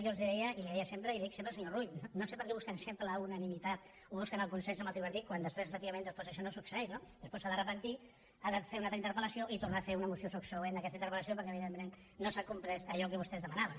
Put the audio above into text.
jo els deia i li deia sempre i li dic sempre al senyor rull no sé per què busquen sempre la unanimitat o busquen el consens amb el tripartit quan després efectivament això no succeeix no després se n’ha de penedir ha de fer una altra interpel·lació i tornar a fer una moció subsegüent d’aquesta interpel·lació perquè evidentment no s’ha complert allò que vostès demanaven